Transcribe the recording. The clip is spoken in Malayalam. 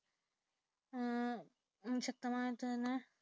അതിശക്തമായി തന്നെ